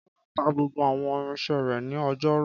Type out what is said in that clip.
Kọ́lá ta gbogbo àwọn irinṣẹ́ rẹ̀ ní ọjọ́rú.